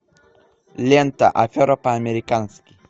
лента афера по американски